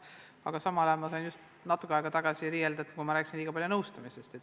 Aga samal ajal ma sain just natuke aega tagasi riielda, kui rääkisin liiga palju nõustamisest.